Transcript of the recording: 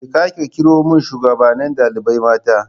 Je ka kirawo min shugaban dalibai mata